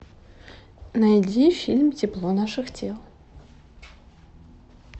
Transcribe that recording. найди фильм тепло наших тел